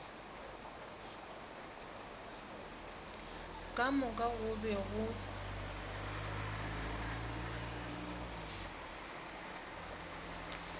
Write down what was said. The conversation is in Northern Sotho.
ka moka go be go